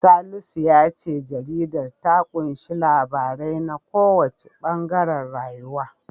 Salisu ya ce jaridar ta ƙunshi labarai na kowanne ɓangaren rayuwa.